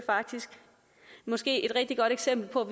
måske et rigtig godt eksempel på